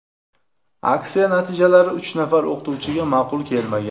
Aksiya natijalari uch nafar o‘qituvchiga ma’qul kelmagan.